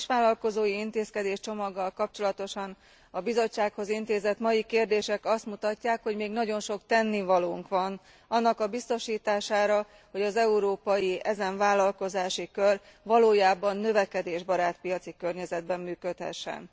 A kisvállalkozói intézkedéscsomaggal kapcsolatosan a Bizottsághoz intézett mai kérdések azt mutatják, hogy még nagyon sok tennivalónk van annak a biztosítására, hogy az európai ezen vállalkozási kör valójában növekedésbarát piaci környezetben működhessen.